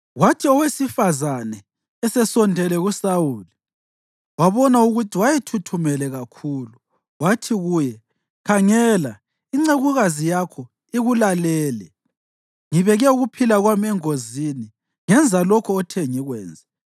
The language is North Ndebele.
Kwathi owesifazane esesondele kuSawuli wabona ukuthi wayethuthumele kakhulu, wathi kuye, “Khangela, incekukazi yakho ikulalele. Ngibeke ukuphila kwami engozini ngenza lokho othe ngikwenze.